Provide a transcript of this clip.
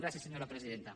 gràcies senyora presidenta